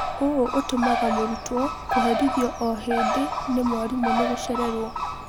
ũũ ũtũmaga mũrutwo kũherithio o-hĩndĩ nĩ mwarimũ nĩgũcererwo.